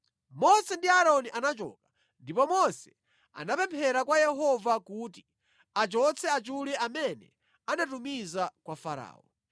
Mose ndi Aaroni anachoka, ndipo Mose anapemphera kwa Yehova kuti achotse achule amene anatumiza kwa Farao.